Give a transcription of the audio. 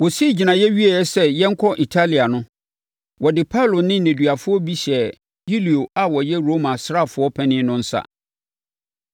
Wɔsii gyinaeɛ wieeɛ sɛ yɛnkɔ Italia no, wɔde Paulo ne nneduafoɔ bi hyɛɛ Yulio a ɔyɛ Roma asraafoɔ panin no nsa.